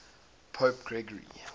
pope gregory